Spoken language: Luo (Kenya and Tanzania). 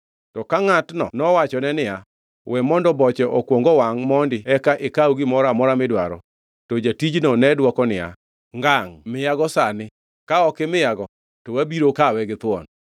To ka ngʼatno nowachone niya, “We mondo boche okuong owangʼ mondi eka ikaw gimoro amora midwaro,” to jatijno nedwoko niya, “Ngangʼ miyago sani; ka ok imiyago, to abiro kawe githuon.”